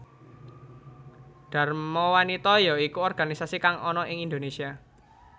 Dharma wanita ya iku organisasi kang ana ing Indonesia